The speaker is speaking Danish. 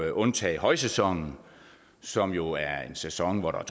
at undtage højsæsonen som jo er en sæson hvor der